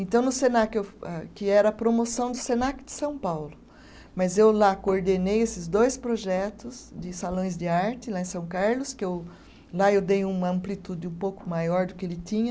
Então, no Senac eu ah, que era a promoção do Senac de São Paulo, mas eu lá coordenei esses dois projetos de salões de arte, lá em São Carlos, que eu, lá eu dei uma amplitude um pouco maior do que ele tinha.